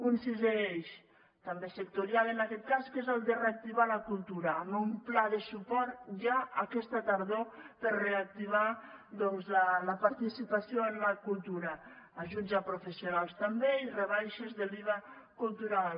un sisè eix també sectorial en aquest cas que és el de reactivar la cultura amb un pla de suport ja aquesta tardor per a reactivar doncs la participació en la cultura ajuts a professionals també i rebaixes de l’iva cultural